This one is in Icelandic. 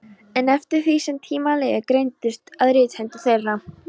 En eftir því sem tímar liðu greindust að rithendur þeirra.